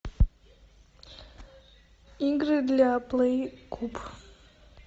игры для плей куб